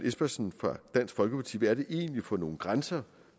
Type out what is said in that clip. espersen fra dansk folkeparti hvad det egentlig er for nogle grænser